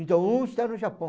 Então, um está no Japão.